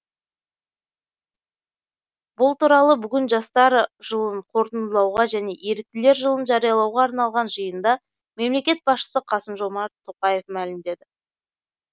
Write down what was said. бұл туралы бүгін жастар жылын қорытындылауға және еріктілер жылын жариялауға арналған жиында мемлекет басшысы қасым жомарт тоқаев мәлімдеді